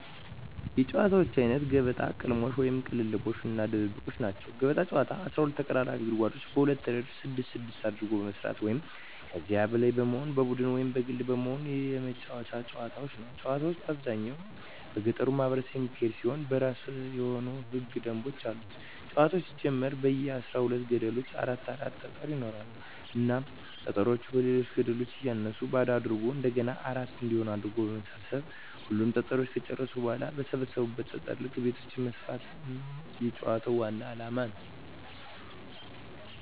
የጨዋታወች አይነት ገበጣ፣ ቅልሞሽ(ቅልልቦሽ) እና ድብብቆሽ ናቸዉ። ገበጣ ጨዋታ 12 ተቀራራቢ ጉድጓዶችን በሁለት እረድፍ ስድስት ስድስት አድርጎ በመስራት ሁለት ወይም ከዚያ በላይ በመሆን በቡድን ወይም በግል በመሆን የመጫወቱት ጨዋታ ነዉ። ጨዋታዉ በአብዛኛዉ በገጠሩ ማህበረሰብ የሚካሄድ ሲሆን የእራሱ የሆኑ ህገ ደንቦችም አሉት ጨዋታዉ ሲጀመር በየ አስራ ሁለት ገደሉ አራት አራት ጠጠሮች ይኖራሉ እናም ጠጠሮችን በሌሎች ገደሎች እያነሱ ባዶ አድርጎ እንደገና አራት እንዲሆን አድርጎ በመሰብ ሰብ ሁሉንም ጠጠሮች ከጨረሱ በኋላ በሰበሰቡት ጠጠር ልክ ቤቶችን መስፋት ነዉ የጨዋታዉ ዋናዉ አላማ።